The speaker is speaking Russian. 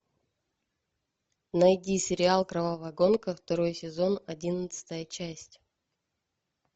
найди сериал кровавая гонка второй сезон одиннадцатая часть